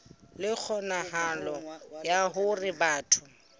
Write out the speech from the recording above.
le kgonahalo ya hore batho